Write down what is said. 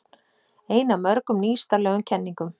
Ein af mörgum nýstárlegum kenningum